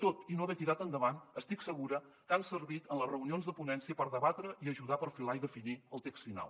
tot i no haver tirat endavant estic segura que han servit en les reunions de ponència per debatre i ajudar a perfilar i definir el text final